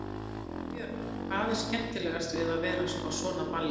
Erla Björg: Hvað er skemmtilegast við að vera á svona balli?